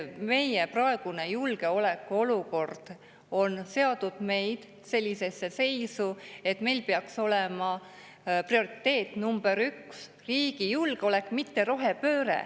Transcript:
Meie praegune julgeolekuolukord on seadnud meid sellisesse seisu, et meil peaks olema prioriteet number üks riigi julgeolek, mitte rohepööre.